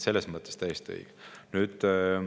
Selles mõttes täiesti õige.